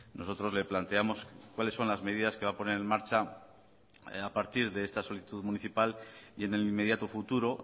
nosotros le planteamos cuáles son las medidas que va a poner en marcha a partir de esta solicitud municipal y en el inmediato futuro